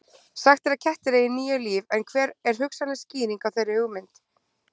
Sagt er að kettir eigi níu líf en hver er hugsanleg skýring á þeirri hugmynd?